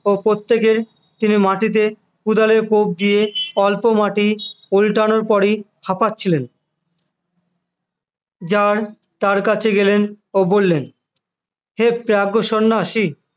ও প্রত্যেকের তিনি মাটিতে কোদালের কোপ দিয়ে অল্প মাটি উল্টানোর পরেই হাঁপাচ্ছিলেন যার তার কাছে গেলেন ও বললেন হে প্রাজ্ঞ সন্ন্যাসী